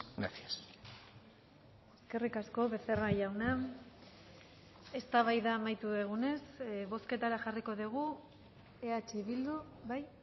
gracias eskerrik asko becerra jauna eztabaida amaitu dugunez bozketara jarriko dugu eh bildu bai